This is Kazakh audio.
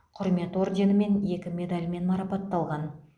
құрмет орденімен екі медальмен марапатталған